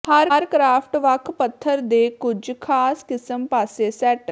ਹਰ craft ਵੱਖ ਪੱਥਰ ਦੇ ਕੁਝ ਖਾਸ ਕਿਸਮ ਪਾਸੇ ਸੈੱਟ